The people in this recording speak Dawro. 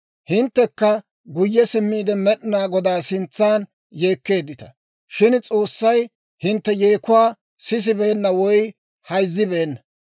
Hinttekka guyye simmiide, Med'inaa Godaa sintsan yeekkeeddita; shin S'oossay hintte yeekuwaa sisibeenna woy hayzzibeenna.